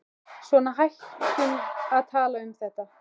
Svona, hættum að tala um þetta.